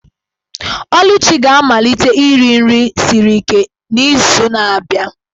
Oluchi ga-amalite iri nri siri ike n'izu na-abịa.